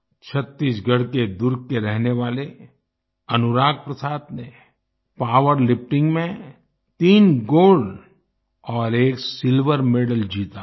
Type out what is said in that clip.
छत्तीसगढ़ के दुर्ग के रहने वाले अनुराग प्रसाद ने पावरलिफ्टिंग में तीन गोल्ड और एक सिल्वर मेडल जीता है